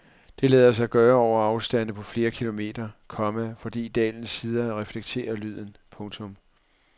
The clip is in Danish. Det lader sig gøre over afstande på flere kilometer, komma fordi dalens sider reflekterer lyden. punktum